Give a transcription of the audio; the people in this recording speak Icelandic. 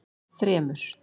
þremur